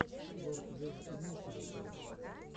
лорд вево имеется ли у тебя